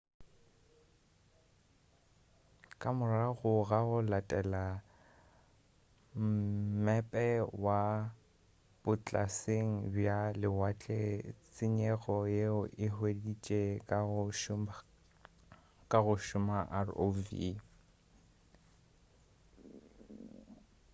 ka morago ga go latela mmepe wa botlaseng bja lewatle tsenyego yeo e hweditše ka go šomiša rov